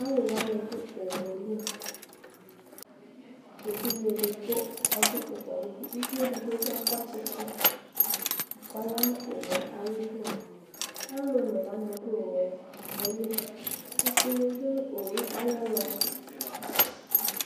aluwanidu owuɛli evidze edigbo ɔdʋ owuayidu ʋvidibi akɔ tsitsi kɔyanu owuɛ ayidu alʋonewani du owuɛ ayili ɛkʋ yadu nu owuɛ ayɛlʋ